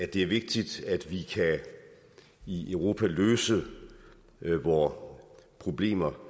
det er vigtigt at vi i europa kan løse vore problemer